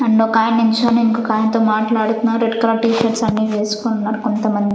and ఒకాయన నించోని ఇంకొక ఆయనతో మాట్లాడుతున్నారు రెడ్ కలర్ టీ షర్ట్స అనేవి వేసుకుని ఉన్నారు కొంతమంది --